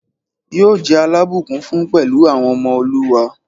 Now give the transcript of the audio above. Yóò jẹ́ alábùkún fún pẹ̀lú àwọn ọmọ olúwa